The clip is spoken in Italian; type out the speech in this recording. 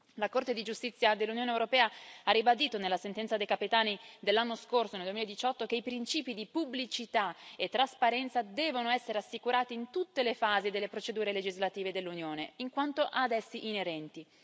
La Corte di giustizia dell'Unione europea ha ribadito, nella sentenza De Capitani del 2018, che i principi di pubblicità e trasparenza devono essere assicurati in tutte le fasi delle procedure legislative dell'Unione, in quanto ad essi inerenti.